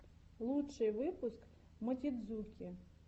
лучший выпуск мотидзуки